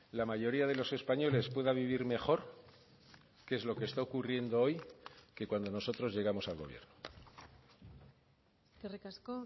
la mayoría de los españoles pueda vivir mejor que es lo que está ocurriendo hoy que cuando nosotros llegamos al gobierno eskerrik asko